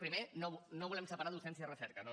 primer no volem separar docència de recerca no no